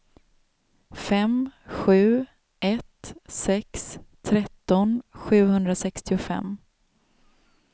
fem sju ett sex tretton sjuhundrasextiofem